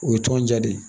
O ye tɔn ja de ye